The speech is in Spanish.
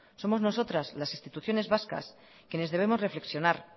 somos nosotras las instituciones vascas quienes debemos reflexionar